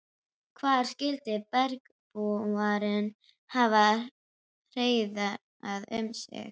Hvar skyldu bergbúarnir hafa hreiðrað um sig?